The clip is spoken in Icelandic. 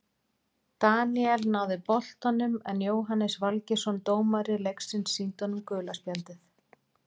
Daníel náði boltanum en Jóhannes Valgeirsson dómari leiksins sýndi honum gula spjaldið.